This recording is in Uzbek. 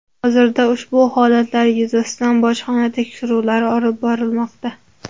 Hozirda ushbu holatlar yuzasidan bojxona tekshiruvlari olib borilmoqda.